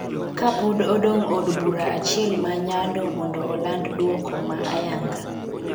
kapod odong' od bura achiel ma Nyando mondo oland duoko ma ayanga,